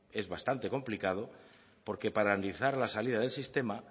es bastante complicado porque para analizar la salida del sistema